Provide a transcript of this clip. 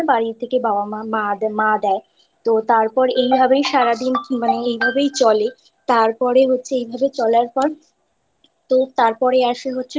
সেই দিন কারে বাড়ি থাকে বাবা মা মা দেয় তো তারপর সারাদিন এই ভাবেই চলে তারপরে হচ্ছে এই ভাবে চলার পর তো তারপরে আসে হচ্ছে